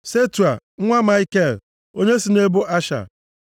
Setua nwa Maikel, onye si nʼebo Asha.